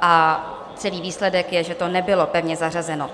a celý výsledek je, že to nebylo pevně zařazeno.